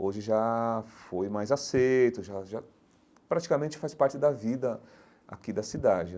Hoje já foi mais aceito, já já praticamente faz parte da vida aqui da cidade.